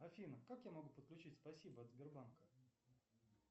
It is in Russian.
афина как я могу подключить спасибо от сбербанка